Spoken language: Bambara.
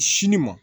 Sini ma